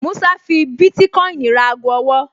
Músá fi bítíkọ́ìnì ra ago ọwọ́